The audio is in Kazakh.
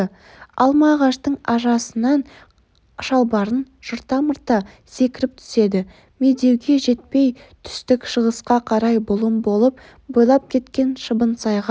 алма ағаштың ашасынан шалбарын жырта-мырта секіріп түседі медеуге жетпей түстік-шығысқа қарай бұлым болып бойлап кеткен шыбынсайға